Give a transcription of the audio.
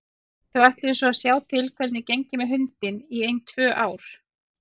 Þau ætluðu svo að sjá til hvernig gengi með hundinn í ein tvö ár.